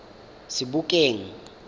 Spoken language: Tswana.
sebokeng